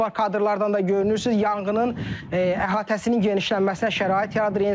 Kadrlardan da görünürsüz, yanğının əhatəsinin genişlənməsinə şərait yaradır.